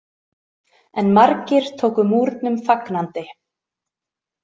En margir tóku Múrnum fagnandi.